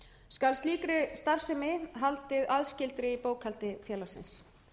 skal slíkri starfsemi haldið aðskildri í bókhaldi félagsins